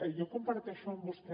jo comparteixo amb vostè